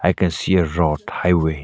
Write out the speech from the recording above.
I can see a road highway.